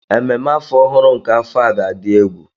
Ememme afọ ọhụrụ nke afọ a ga adị egwu.